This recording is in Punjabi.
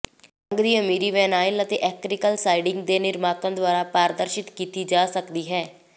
ਰੰਗ ਦੀ ਅਮੀਰੀ ਵਿਨਾਇਲ ਅਤੇ ਐਕ੍ਰੀਕਲ ਸਾਈਡਿੰਗ ਦੇ ਨਿਰਮਾਤਾਵਾਂ ਦੁਆਰਾ ਪ੍ਰਦਰਸ਼ਿਤ ਕੀਤੀ ਜਾ ਸਕਦੀ ਹੈ